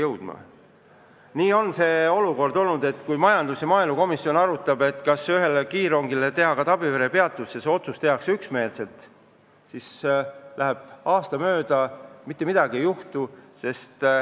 Olukord on olnud selline, et kui majandus- või maaelukomisjon arutab, kas üks kiirrong peaks peatuma ka Tabiveres, ja tehakse üksmeelselt otsus, et peaks, siis läheb aasta mööda, aga mitte midagi ei ole juhtunud.